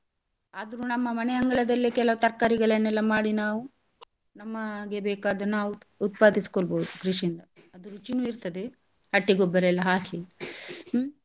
ಆದ್ರೂ ನಮ್ಮ ಮನೆ ಅಂಗಳದಲ್ಲಿ ಕೆಲವು ತರ್ಕಾರಿಗಳನ್ನೆಲ್ಲ ಮಾಡಿ ನಾವು ನಮಗೆ ಬೇಕಾದನ್ನು ನಾವು ಉತ್ಪಾದಿಸಿಕೊಳ್ಬೋದು ಕೃಷಿಯಿಂದ ಅದು ರುಚಿನೂ ಇರ್ತದೆ ಹಟ್ಟಿ ಗೊಬ್ಬರ ಎಲ್ಲಾ ಹಾಕಿ ಹ್ಮ್.